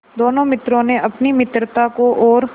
दोनों मित्रों ने अपनी मित्रता को और